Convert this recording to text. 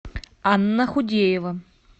анна худеева